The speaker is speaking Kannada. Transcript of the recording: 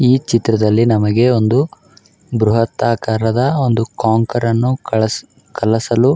ಈ ಚಿತ್ರದ್ಲಲಿ ನಮಗೆ ಒಂದು ಬ್ರಹತ್ ಆಕಾರದ ಒಂದು ಕಾಂಕಾರ್ ಅನ್ನು ಕಳಸ್ ಕಳಸಲು --